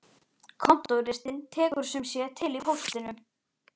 Kontóristinn tekur sum sé til í póstinum.